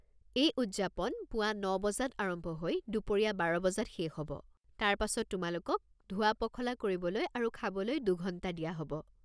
এই উদযাপন পুৱা ন বজাত আৰম্ভ হৈ দুপৰীয়া বাৰ বজাত শেষ হ'ব, তাৰপাছত তোমালোকক ধোৱা-পখলা কৰিবলৈ আৰু খাবলৈ দুঘণ্টা দিয়া হ'ব।